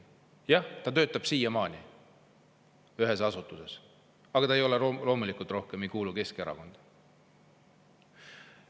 Jah, ta töötab siiamaani ühes linnaasutuses, aga ta loomulikult enam ei kuulu Keskerakonda.